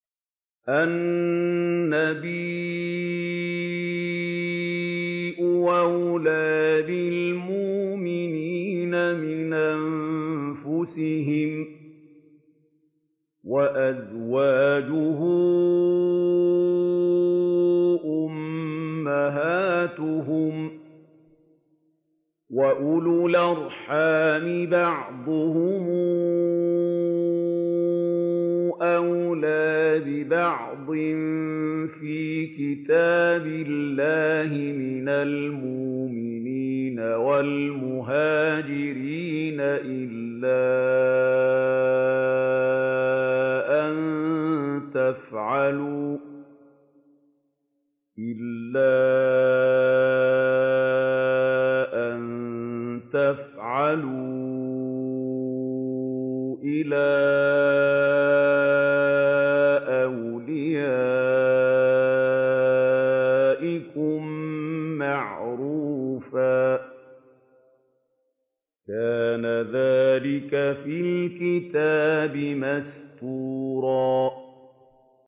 النَّبِيُّ أَوْلَىٰ بِالْمُؤْمِنِينَ مِنْ أَنفُسِهِمْ ۖ وَأَزْوَاجُهُ أُمَّهَاتُهُمْ ۗ وَأُولُو الْأَرْحَامِ بَعْضُهُمْ أَوْلَىٰ بِبَعْضٍ فِي كِتَابِ اللَّهِ مِنَ الْمُؤْمِنِينَ وَالْمُهَاجِرِينَ إِلَّا أَن تَفْعَلُوا إِلَىٰ أَوْلِيَائِكُم مَّعْرُوفًا ۚ كَانَ ذَٰلِكَ فِي الْكِتَابِ مَسْطُورًا